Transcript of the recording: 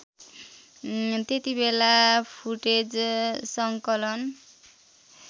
त्यतिबेला फुटेज सङ्कलन